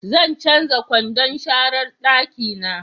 Zan canja kwandon sharan dakina